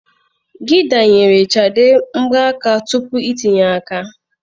Gide nyere Shade mgbanaka tupu itinye aka.